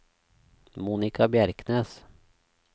Monica Bjerknes